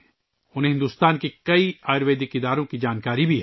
انہیں بھارت کے کئی آیورویدک اداروں کی جانکاری بھی ہے